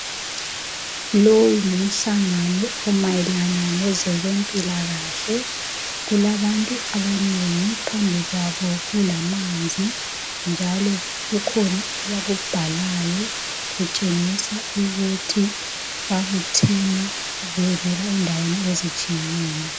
lowu ngumhlangano omayelana ngezempila kahle kulabantu abanengi phambi kwabo kula manzi njalo kukhona abakubhalayo kutshengisa ukuthi babuthenebevela endaweni ezihlukeneyo.